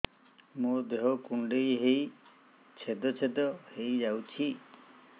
ମୋ ଦେହ କୁଣ୍ଡେଇ ହେଇ ଛେଦ ଛେଦ ହେଇ ଯାଉଛି